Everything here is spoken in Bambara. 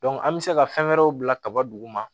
an bɛ se ka fɛn wɛrɛw bila kaba duguma